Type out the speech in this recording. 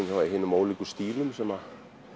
ólíkum stílum sem